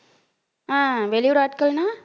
அஹ் வெளியூர் ஆட்கள்ன்னா